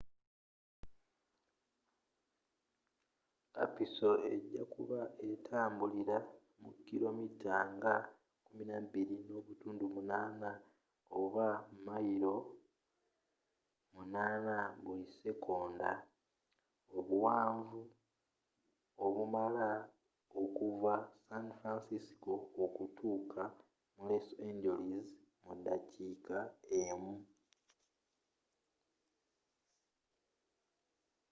kapiso ejakuba etambulila mu kilo mita nga 12.8 oba mayilo 8 buli sekonda obwangu obumala okuva san francisco okutuuka mu los angeles mu dakiika emu